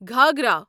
گھاگھرا